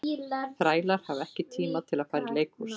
Þrælar hafa ekki tíma til að fara í leikhús.